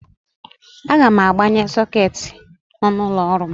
Aga m agbanwe sọketi nọ n'ụlọ ọrụ m.